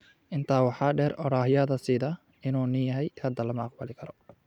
Intaa waxaa dheer, odhaahyada sida "inuu nin yahay", hadda lama aqbali karo.